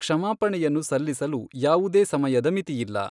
ಕ್ಷಮಾಪಣೆಯನ್ನು ಸಲ್ಲಿಸಲು ಯಾವುದೇ ಸಮಯದ ಮಿತಿಯಿಲ್ಲ.